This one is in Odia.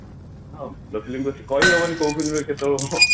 ହଁ ଭଲ film ଦଉଛି କହି ହବନି କୋଉ film କେତେ କନ